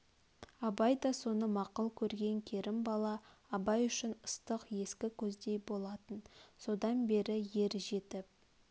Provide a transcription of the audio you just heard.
абай да соны мақұл көрген керімбала абай үшін ыстық ескі көздей болатын содан бері ер жетіп